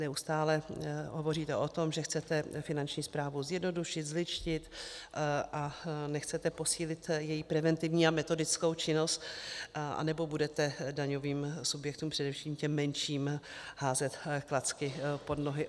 Neustále hovoříte o tom, že chcete Finanční správu zjednodušit, zlidštit, a nechcete posílit její preventivní a metodickou činnost, anebo budete daňovým subjektům, především těm menším, házet klacky pod nohy?